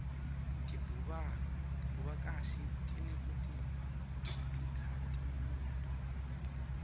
tebuvakashi tineteku khibika temnotfo